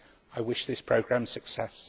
I wish this programme success.